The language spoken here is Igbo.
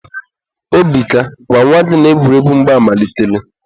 Obika, gwa nwa gị na egwuregwu mgba amalitela.